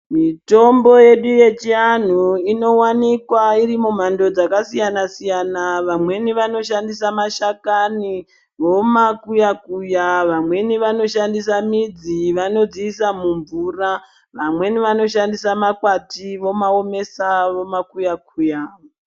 Mitombo yedu yechianhu inowanikwa irimumando dzakasiyana siyana vamweni vanoshandisa mashakani vomakuya kuya vamweni vanoshandisa midzi vanodziisa mumvira vamweni vanoshandisa makwati vomaomesa vomakuya kuya.